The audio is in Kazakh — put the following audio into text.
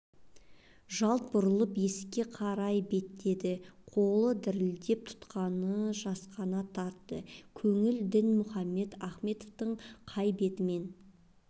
жалт бұрылып есікке қарай беттеді қолы дірілдеп тұтқаны жасқана тартты көңіл дінмұхаммед ахметовтың қай бетіммен